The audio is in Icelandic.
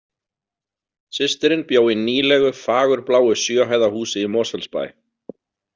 Systirin bjó í nýlegu fagurbláu sjö hæða húsi í Mosfellsbæ.